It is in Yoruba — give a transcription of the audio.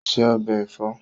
Ó se ọbẹ̀ ẹ̀fọ́